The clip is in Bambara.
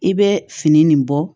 I bɛ fini nin bɔ